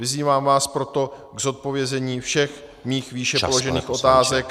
Vyzývám vás proto k zodpovězení všech mých výše položených otázek.